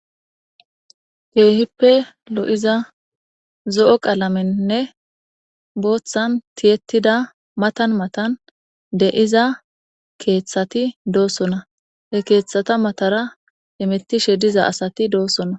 keehippe lo7iza zo7o qalamennne booththan tiyettida matan matan deiza keeththati doosona he keeththata matara imettishe diza asati doossona